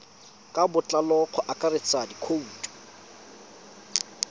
ka botlalo go akaretsa dikhoutu